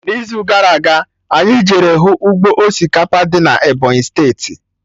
N'izu gara aga, anyị jere hụ ụgbọ osikapa dị na Ebọnyị steeti